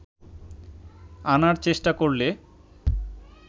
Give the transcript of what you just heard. আনার চেষ্টা করলে